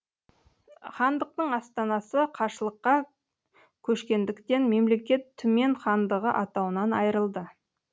хандықтың астанасы қашлыққа көшкендіктен мемлекет түмен хандығы атауынан айырылды